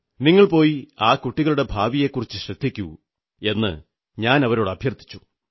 നിങ്ങൾ പോയി ആ കുട്ടികളുടെ ഭാവിയെക്കുറിച്ചു ശ്രദ്ധിക്കൂ എന്നു ഞാനവരോട് അഭ്യർഥിച്ചു